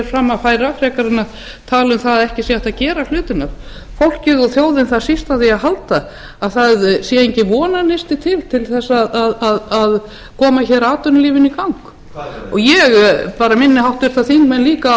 fram að færa frekar en að tala um að ekki sé hægt að gera hlutina fólkið og þjóðin þarf síst á því að halda að það sé enginn vonarneisti til til þess að koma hér atvinnulífinu í gang ég bara minni háttvirtir þingmenn líka